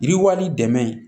Yiriwali dɛmɛ